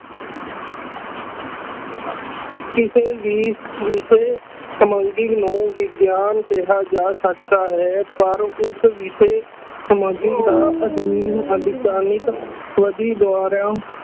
ਕਿਸੇ ਵੀ ਵਿਸ਼ੇ ਨੂੰ ਵਿਗਿਆਨ ਕਿਹਾ ਜਾ ਸਕਦਾ ਹੈ ਪਰ ਉਸ ਵਿਸ਼ੇ ਸਮਾਜਿਕ ਦਾ ਅਧੀਨ ਵਧੀ ਦੁਆਰਾ